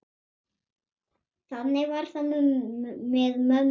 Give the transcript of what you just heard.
Þannig var það með mömmu.